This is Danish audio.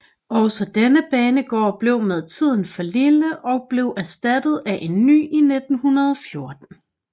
Også denne banegård blev med tiden for lille og blev erstattet af en ny i 1914